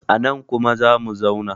anan kuma za mu zauna!